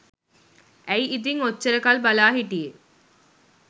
ඇයි ඉතින් ඔච්චර කල් බලා හිටියේ